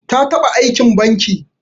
Ta taba Aikin banki.